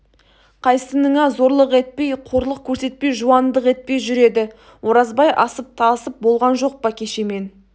қайсыныңа зорлық етпей қорлық көрсетпей жуандық етпей жүр еді оразбай асып-тасып болған жоқ па кеше мен